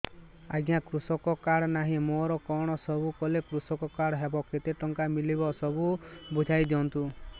ଆଜ୍ଞା କୃଷକ କାର୍ଡ ନାହିଁ ମୋର କଣ ସବୁ କଲେ କୃଷକ କାର୍ଡ ହବ କେତେ ଟଙ୍କା ମିଳିବ ସବୁ ବୁଝାଇଦିଅନ୍ତୁ